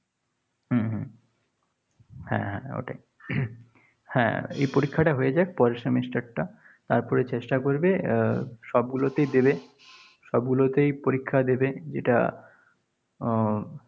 হম হম হ্যাঁ, হ্যাঁ ওটাই। হ্যাঁ, এ পরীক্ষাটা হয়ে যাক, পরের semester টা। তারপরে চেষ্টা করবে আহ সবগুলোতেই দেবে। সবগুলোতেই পরীক্ষা দেবে। যেটা উম